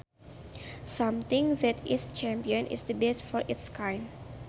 Something that is champion is the best for its kind